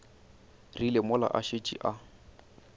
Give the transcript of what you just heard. rile mola a šetše a